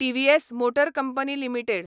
TVS motor company limited